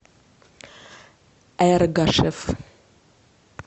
эргашев